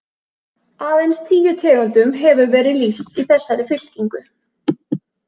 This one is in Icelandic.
Aðeins tíu tegundum hefur verið lýst í þessari fylkingu.